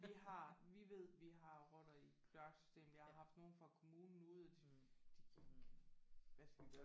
Vi har vi ved vi har rotter i kloaksystemet. Vi har haft nogen fra kommunen ude og de de hvad skal vi gøre?